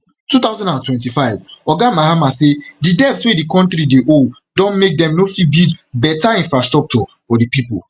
two thousand and twenty-five oga mahama say di debts wey di kontri dey owe don make dem no fit build beta infrastructure for di pipo